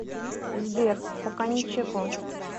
сбер пока ничего